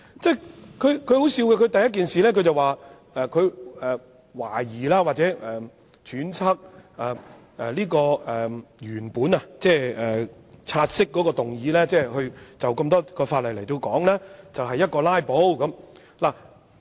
但很可笑，他第一件事便說，他懷疑或揣測這項原本的"察悉議案"，即議員就多項附屬法例進行討論，就是"拉布"。